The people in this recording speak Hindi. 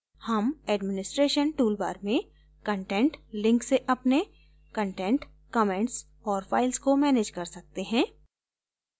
हम administration toolbar में content link से अपने content comments और files को manage कर सकते हैं